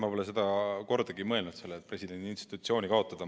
Ma pole kordagi mõelnud sellele, et presidendi institutsioon kaotada.